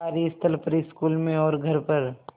कार्यस्थल पर स्कूल में और घर पर